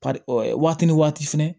Par waati ni waati fɛnɛ